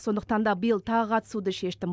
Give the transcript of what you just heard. сондықтан да биыл тағы қатысуды шештім